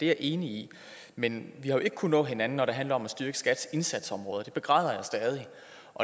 jeg enig i men vi har jo ikke kunnet nå hinanden når det handler om at styrke skats indsatsområder og det begræder jeg stadig